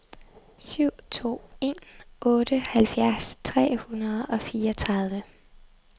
syv to en otte halvfjerds tre hundrede og fireogtredive